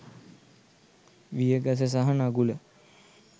විය ගස සහ නගුල